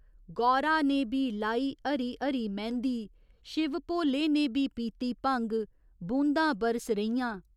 गौरा ने बी लाई हरी हरी मैंह्दी शिव भोले ने बी पीती भंग, बूदां बरस रहियां।